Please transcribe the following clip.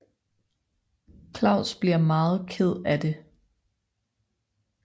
Claus bliver meget ked af det